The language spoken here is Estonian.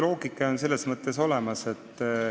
Loogika on selles mõttes olemas.